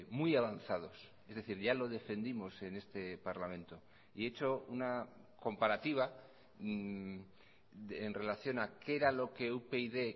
muy avanzados es decir ya lo defendimos en este parlamento y he hecho una comparativa en relación a qué era lo que upyd